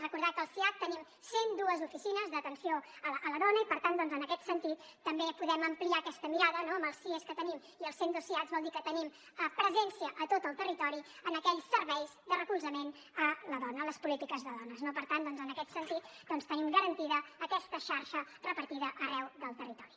recordar que al siad tenim cent dues oficines d’atenció a la dona i per tant doncs en aquest sentit també podem ampliar aquesta mirada no amb els sies que tenim i els cent dos siads vol dir que tenim presència a tot el territori en aquells serveis de recolzament a la dona les polítiques de dones no per tant doncs en aquest sentit tenim garantida aquesta xarxa repartida arreu del territori